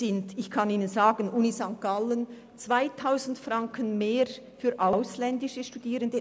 Die Universität St. Gallen verlangt 2000 Franken mehr für ausländische Studierende.